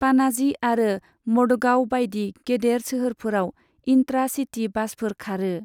पाणाजी आरो मडगांव बायदि गेदेर सोहोरफोराव इन्ट्रा सिटी बासफोर खारो।